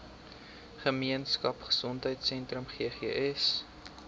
gemeenskap gesondheidsentrum ggs